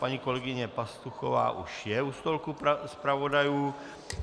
Paní kolegyně Pastuchová už je u stolku zpravodajů.